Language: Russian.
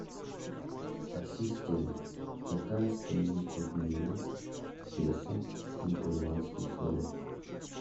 ассистент какая стоимость обмена песо на перуанские соли